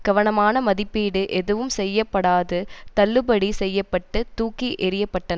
கவனமான மதிப்பீடு எதுவும் செய்யப்படாது தள்ளுபடி செய்ய பட்டு தூக்கி எறியப்பட்டன்